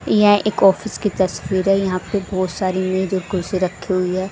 यहां एक ऑफिस की तस्वीर है यहां पे बहोत सारी मेज और कुर्सी रखी हुई है।